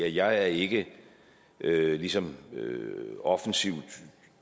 jeg er ikke ligesom offensivt